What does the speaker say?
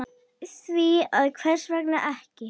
Því að hvers vegna ekki?